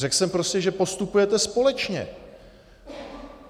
Řekl jsem prostě, že postupujete společně.